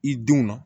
I denw na